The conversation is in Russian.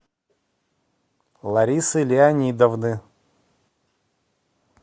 ларисы леонидовны